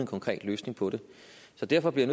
konkret løsning på det så derfor bliver